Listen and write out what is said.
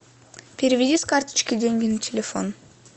переведи с карточки деньги на телефон